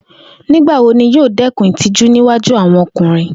Nigbawo ni yoo dẹkun itiju ni iwaju awọn ọkunrin?